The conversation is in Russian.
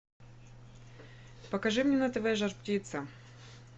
покажи мне на тв жар птица